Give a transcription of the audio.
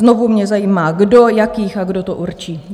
Znovu mě zajímá kdo, jakých a kdo to určí.